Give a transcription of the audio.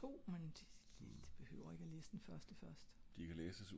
det er to men det er fint du behøver ikke at læse den første først